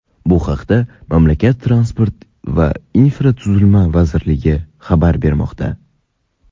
Bu haqda mamlakat transport va infratuzilma vazirligi xabar bermoqda.